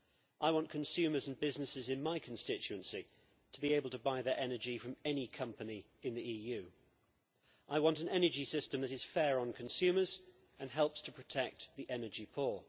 I want consumers and businesses in my constituency to be able to buy their energy from any company in the EU. I want an energy system that is fair on consumers and helps to protect the energy poor.